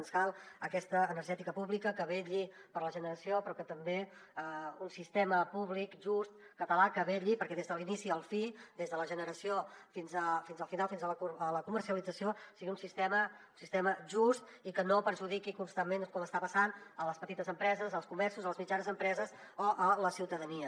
ens cal aquesta energètica pública que vetlli per la generació però també un sistema públic just català que vetlli perquè des de l’inici a la fi des de la generació fins al final fins a la comercialització sigui un sistema just i que no perjudiqui constantment com està passant les petites empreses els comerços les mitjanes empreses o la ciutadania